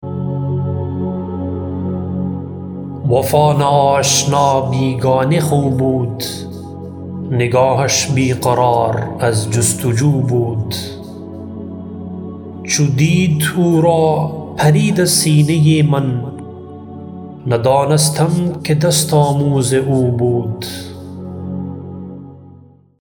وفا ناآشنا بیگانه خو بود نگاهش بیقرار از جستجو بود چو دید او را پرید از سینه من ندانستم که دست آموز او بود